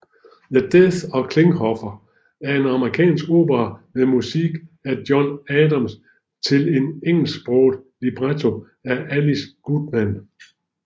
The Death of Klinghoffer er en amerikansk opera med musik af John Adams til en engelsksproget libretto af Alice Goodman